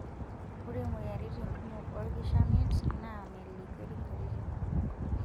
Ore moyiaritin kumok olkishamiet naa melikiori nkatitin kumok.